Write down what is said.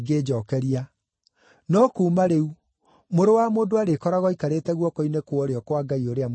No kuuma rĩu, Mũrũ wa Mũndũ arĩkoragwo aikarĩte guoko-inĩ kwa ũrĩo kwa Ngai ũrĩa Mwene-Hinya.”